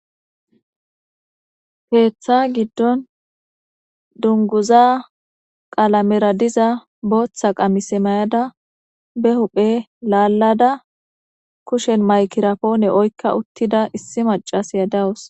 Keeththa giddon dunguza qaalamera diza booththa qamise mayada be huphe laallada kushen maykirapoone oykka uttida issi macas yadawus.